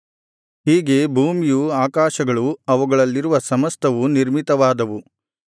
ಹೀಗೆ ಭೂಮಿಯು ಆಕಾಶಗಳು ಅವುಗಳಲ್ಲಿರುವ ಸಮಸ್ತವೂ ನಿರ್ಮಿತವಾದವು